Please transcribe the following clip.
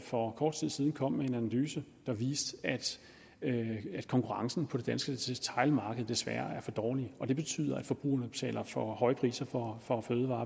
for kort tid siden kom med en analyse der viste at konkurrencen på det danske detailmarked desværre er for dårlig og det betyder at forbrugerne betaler for høje priser for